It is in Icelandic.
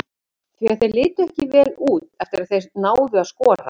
Því að þeir litu ekki vel út eftir að þeir náðu að skora.